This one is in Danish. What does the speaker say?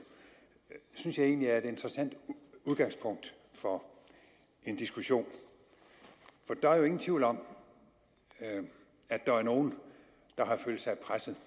synes jeg egentlig er et interessant udgangspunkt for en diskussion for der er jo ingen tvivl om at der er nogle der har følt sig presset